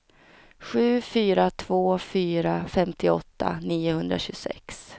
sju fyra två fyra femtioåtta niohundratjugosex